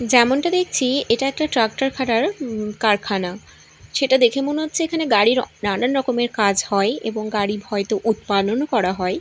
যেমনটা দেখছি এটা একটা ট্রাক্টর খাটার কারখানা সেটা দেখে মনে হচ্ছে এখানে গাড়ির রকমের কাজ হয় এবং গাড়ির হয়তো উৎপানও করা হয়।